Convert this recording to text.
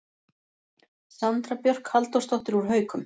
Sandra Björk Halldórsdóttir úr Haukum